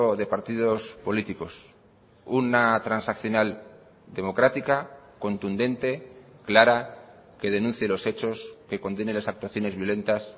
de partidos políticos una transaccional democrática contundente clara que denuncie los hechos que condene las actuaciones violentas